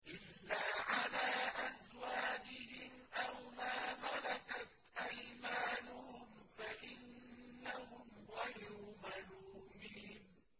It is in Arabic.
إِلَّا عَلَىٰ أَزْوَاجِهِمْ أَوْ مَا مَلَكَتْ أَيْمَانُهُمْ فَإِنَّهُمْ غَيْرُ مَلُومِينَ